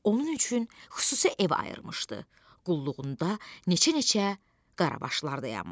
Onun üçün xüsusi ev ayırmışdı, qulluğunda neçə-neçə qarabaşlar dayanmışdı.